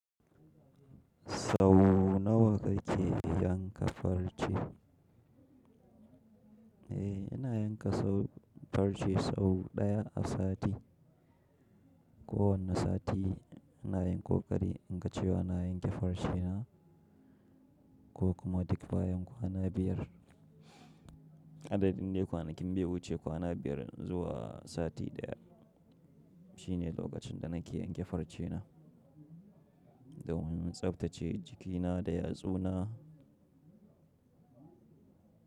Sau nawa kake yanka farce? Eh, ina yanka sau, farce sau ɗaya a sati. Kowanne sati ina yin ƙoƙari in ga cewa ina yanke farce na ko kuma duk bayan kwana biyar. Adadin dai kwanakin bai wuce kwana biyar zuwa sati ɗaya. Shine lokacin da nake yanke farce na. Da wani tsaftace jikina da yatsu na.